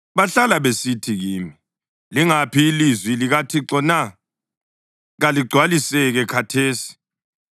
Bahlala besithi kimi, “Lingaphi ilizwi likaThixo na? Kaligcwaliseke khathesi!”